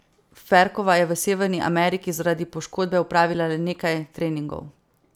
Ferkova je v Severni Ameriki zaradi poškodbe opravila le nekaj treningov.